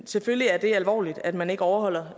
selvfølgelig er det alvorligt at man ikke overholder